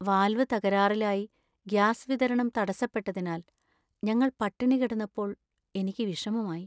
Valve തകരാറിലായി gas വിതരണം തടസ്സപ്പെട്ടതിനാൽ ഞങ്ങൾ പട്ടിണി കിടന്നപ്പോൾ എനിക്ക് വിഷമമായി.